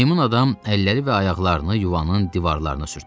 Meymun adam əlləri və ayaqlarını yuvanın divarlarına sürtdü.